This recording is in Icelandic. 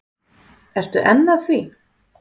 Ertu enn að því?